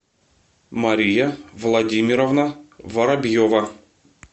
мария владимировна воробьева